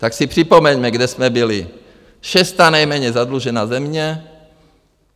Tak si připomeňme, kde jsme byli: šestá nejméně zadlužená země.